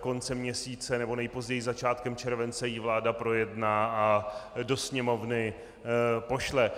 konce měsíce nebo nejpozději začátkem července ji vláda projedná a do Sněmovny pošle.